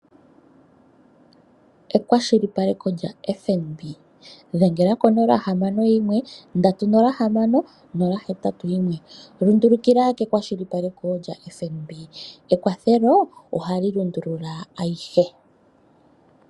Ekwashilipaleko lyaFNB. Dhengela ko 061306081. Lundulukila kekwashilipaleko lyaFNB. Ekwathelo ohali lundulula ayihe.